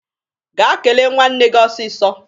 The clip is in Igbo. Gaa kelee nwanne gị ọsịsọ!